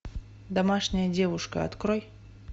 домашняя девушка открой